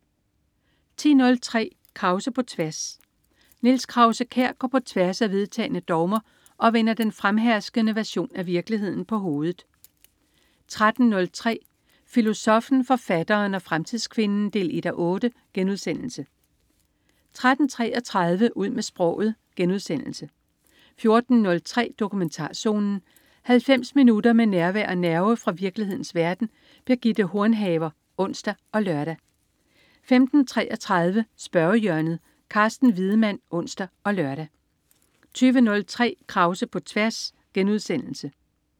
10.03 Krause på tværs. Niels Krause-Kjær går på tværs af vedtagne dogmer og vender den fremherskende version af virkeligheden på hovedet 13.03 Filosoffen, forfatteren og fremtidskvinden 1:8* 13.33 Ud med sproget* 14.03 Dokumentarzonen. 90 minutter med nærvær og nerve fra virkelighedens verden. Birgitte Hornhaver (ons og lør) 15.33 Spørgehjørnet. Carsten Wiedemann (ons og lør) 20.03 Krause på tværs*